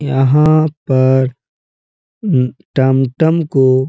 यहाँ पर उम्म टमटम को --